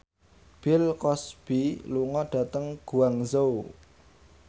Bill Cosby lunga dhateng Guangzhou